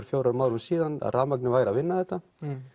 fjórum árum að rafmagnið væri að vinna þetta